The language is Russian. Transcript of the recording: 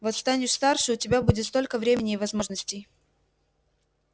вот станешь старше у тебя будет столько времени и возможностей